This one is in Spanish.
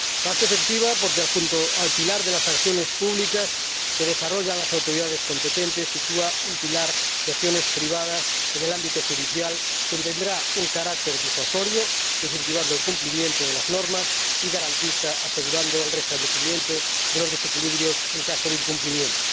Más efectiva, porque, junto al pilar de las acciones públicas que desarrollan las autoridades competentes, sitúa un pilar de acciones privadas en el ámbito judicial que tendrá un carácter disuasorio —incentivando el cumplimiento de las normas— y garantista —asegurando el restablecimiento de los desequilibrios en caso de incumplimiento—.